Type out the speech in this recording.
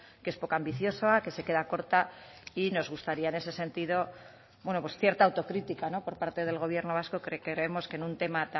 que es poco ambiciosa que se queda corta y nos gustaría en ese sentido bueno pues cierta autocrítica por parte del gobierno vasco que creemos que en un tema